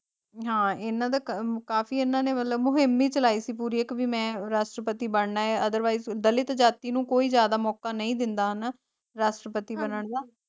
ਹਾਂ ਏਨਾ ਦਾ ਕ ਕਾਫੀ ਏਨਾ ਨੇ ਮਤਲਬ ਮੁਹੀਮ ਵੀ ਚਲਾਇ ਸੀ ਪੂਰੀ ਇਕ ਵੀ ਮੈਂ ਰਾਸ਼੍ਟ੍ਰਪਪਤੀ ਬਣਨਾ ਏ ਅਦਰਵਾਇਸ ਦਲਿਤ ਜਾਤੀ ਨੂੰ ਕੋਈ ਜਿਆਦਾ ਮੌਕਾ ਨਹੀਂ ਦਿੰਦਾ ਹਨਾ ਰਾਸ਼ਟਰਪਤੀ ਬਣਨ ਦਾ।